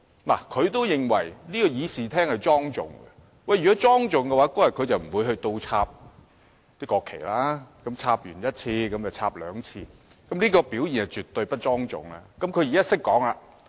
"看，他也認為議事廳是莊重的，但如果是莊重的，他當日便不會倒轉擺放國旗了，並且一而再地倒轉擺放國旗，這種表現是絕對不莊重的。